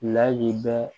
Lahala